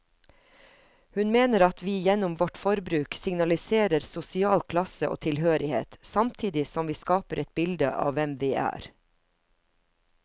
Hun mener at vi gjennom vårt forbruk signaliserer sosial klasse og tilhørighet, samtidig som vi skaper et bilde av hvem vi er.